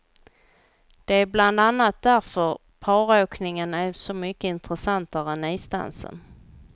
Det är bland annat därför paråkningen är så mycket intressantare än isdansen.